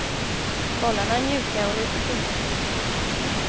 Bollarna är mjuka och litet tunga.